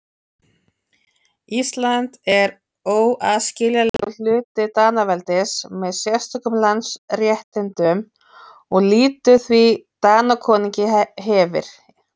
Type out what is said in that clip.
Ísland er óaðskiljanlegur hluti Danaveldis með sérstökum landsréttindum og lýtur því Danakonungi er hefir.